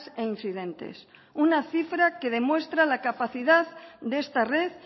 e incidentes una cifra que demuestra la capacidad de esta red